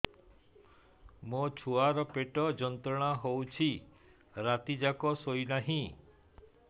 ମୋ ଛୁଆର ପେଟ ଯନ୍ତ୍ରଣା ହେଉଛି ରାତି ଯାକ ଶୋଇନାହିଁ